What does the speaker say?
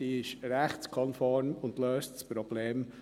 Diese ist rechtskonform und löst das Problem.